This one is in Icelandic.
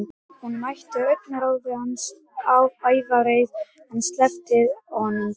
Hún mætti augnaráði hans, ævareið, en sleppti honum þó.